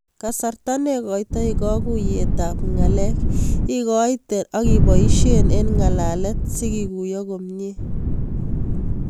Kasarta negaitai kaguuyet ab ng'alek igaiten ak ibaishen en ng'alalet sikiguyo komnye